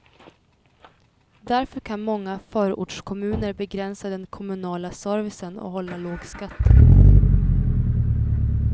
Därför kan många förortskommuner begränsa den kommunala servicen och hålla låg skatt.